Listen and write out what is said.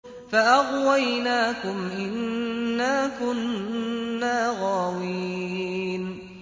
فَأَغْوَيْنَاكُمْ إِنَّا كُنَّا غَاوِينَ